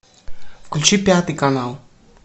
включи пятый канал